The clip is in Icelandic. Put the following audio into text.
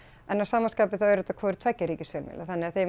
en að sama skapi þá eru þetta hvorir tveggja ríkisfjölmiðlar þannig að þeim